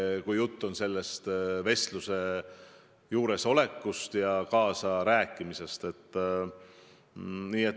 Jutt on muidugi selle telefonivestluse juures olemisest ja kaasarääkimisest.